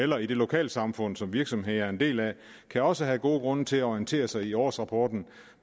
eller i det lokalsamfund som virksomheden er en del af kan også have gode grunde til at orientere sig i årsrapporten